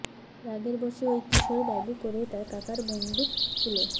রাগের বশে ওই কিশোর ব্যাগে করে তাঁর কাকার বন্দুক স্কুলে